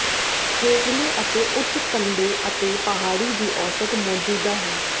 ਹੇਠਲੇ ਅਤੇ ਉੱਚ ਕੰਢੇ ਅਤੇ ਪਹਾੜੀ ਦੀ ਔਸਤ ਮੌਜੂਦਾ ਹੈ